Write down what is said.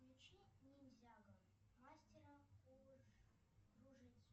включи ниндзяго мастера кружитцу